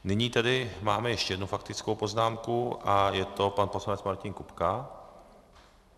Nyní tady máme ještě jednu faktickou poznámku a je to pan poslanec Martin Kupka.